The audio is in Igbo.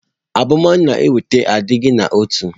Abumonu na-eweta adịghị n'otu.